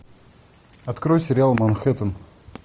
открой сериал манхэттен